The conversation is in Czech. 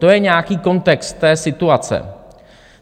To je nějaký kontext té situace.